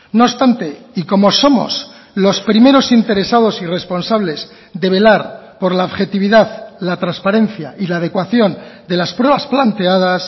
no obstante y como somos los primeros interesados y responsables de velar por la objetividad la transparencia y la adecuación de las pruebas planteadas